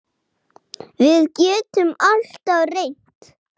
Við getum alltaf reynt.